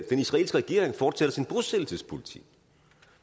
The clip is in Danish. den israelske regering fortsætter sin bosættelsespolitik